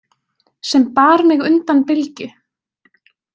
Sem bar mig undan bylgju.